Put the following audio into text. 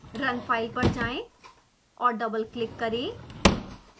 run file पर जाएँ और डबलक्लिक करें